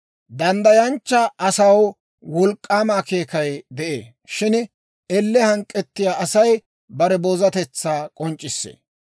Danddayanchcha asaw wolk'k'aama akeekay de'ee; shin elle hank'k'ettiyaa Asay bare boozatetsaa k'onc'c'issee.